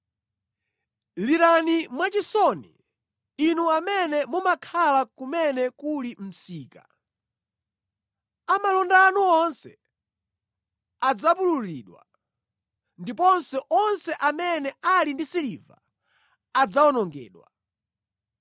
Lirani mwachisoni, inu amene mumakhala kumene kuli msika; a malonda anu onse adzapululidwa, ndiponso onse amene ali ndi siliva adzawonongedwa.